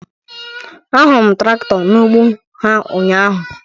A hụrụ m trakto n'ụgbọ ha ụnyaahụ